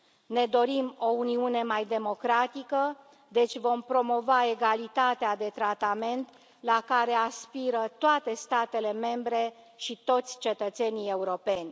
Ne dorim o Uniune mai democratică, deci vom promova egalitatea de tratament la care aspiră toate statele membre și toți cetățenii europeni.